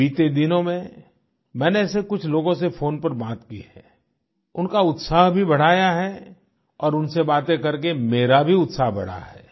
बीते दिनों में मैंने ऐसे कुछ लोगों से फ़ोन पर बात की है उनका उत्साह भी बढ़ाया है और उनसे बातें करके मेरा भी उत्साह बढ़ा है